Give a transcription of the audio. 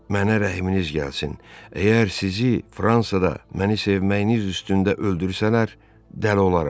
Mənə rəhminiz gəlsin, əgər sizi Fransada məni sevməyiniz üstündə öldürsələr, dəli olaram.